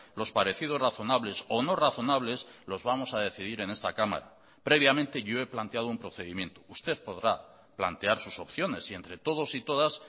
los parecidos razonables o no razonables los vamos a decidir en esta cámara previamente yo he planteado un procedimiento usted podrá plantear sus opciones si entre todos y todas